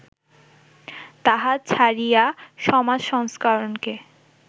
তাহা ছাড়িয়া, সমাজ সংস্করণকে